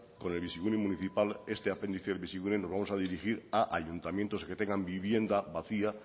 con el bizigune municipal este apéndice invisible nos vamos a dirigir a ayuntamientos que tengan vivienda vacía